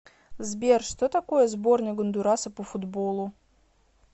сбер что такое сборная гондураса по футболу